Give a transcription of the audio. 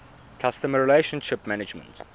customer relationship management